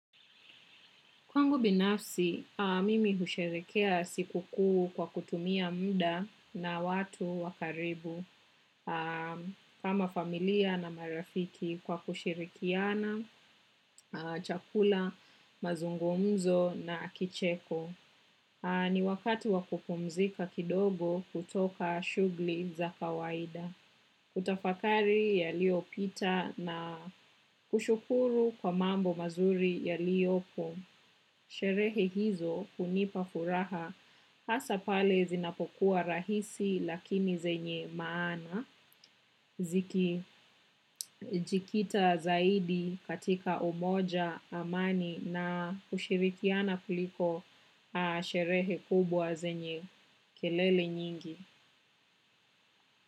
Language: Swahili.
Kwangu binafsi, mimi husherekea siku kuu kwa kutumia mda na watu wa karibu kama familia na marafiki kwa kushirikiana, chakula, mazungumzo na kicheko. Ni wakati wa kupumzika kidogo kutoka shughli za kawaida. Kutafakari yaliopita na kushukuru kwa mambo mazuri yaliopo. Sherehe hizo hunipa furaha hasa pale zinapokuwa rahisi lakini zenye maana zikijikita zaidi katika umoja amani na hushirikiana kuliko sherehe kubwa zenye kelele nyingi.